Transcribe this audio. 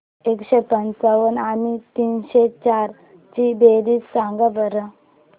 एकशे पंच्याण्णव आणि तीनशे चार ची बेरीज सांगा बरं